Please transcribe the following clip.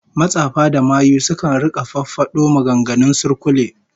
Matsafa da mayu sukan rika fafado maganganun surkulle